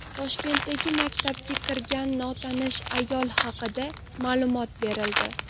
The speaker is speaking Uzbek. Toshkentdagi maktabga kirgan notanish ayol haqida ma’lumot berildi.